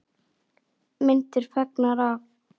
Myndir fengnar af